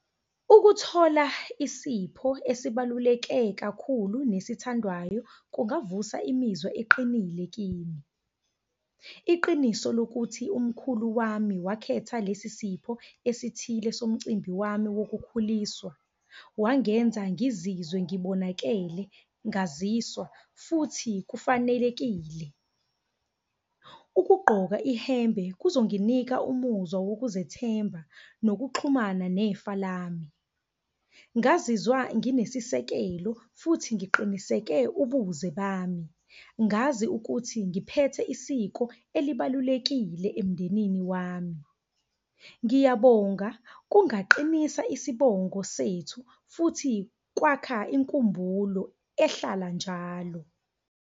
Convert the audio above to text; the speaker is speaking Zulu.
Ukuthola isipho esibaluleke kakhulu nesithandwayo kungavusa imizwa eqinile kimi. Iqiniso lokuthi umkhulu wami wakhetha lesi sipho esithile somcimbi wami wokukhuliswa, wangenza ngizizwe ngibonakele, ngaziswa futhi kufanelekile. Ukugqoka ihembe kuzonginika umuzwa wokuzethemba nokuxhumana nefa lami. Ngazizwa nginesisekelo futhi ngiqiniseke ubuze bami, ngazi ukuthi ngiphethe isiko elibalulekile emndenini wami. Ngiyabonga kungaqinisa isibongo sethu, futhi kwakha inkumbulo ehlala njalo.